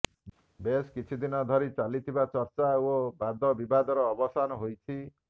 ବେଶ କିଛି ଦିନ ଧରି ଚାଲିଥିବା ଚର୍ଚ୍ଚା ଓ ବାଦ ବିବାଦର ଅବସାନ ହୋଇଛି